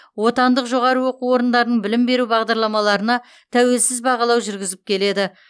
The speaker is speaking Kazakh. отандық жоғары оқу орындарының білім беру бағдарламаларына тәуелсіз бағалау жүргізіп келеді